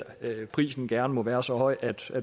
prisen gerne må være så høj at